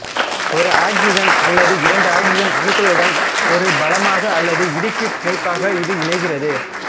ஓர் oxygen அல்லது இரண்டு oxygen அணுக்களுடன் ஒரு பாலமாக அல்லது ஓர் இடுக்கிப் பிணைப்பாக இது இணைகிறது